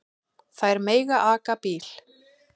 Þær mega aka bíl.